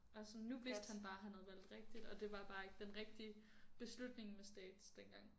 Og sådan nu vidste han bare han havde valgt rigtigt og det var bare ikke den rigtige beslutning med stats dengang